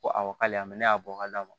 Ko aw ka y'a mɛn ne y'a bɔ ka d'a ma